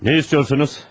Nə istəyirsiniz?